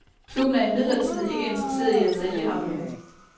Klubben er imidlertid ikke interesseret i at sælge ham nu.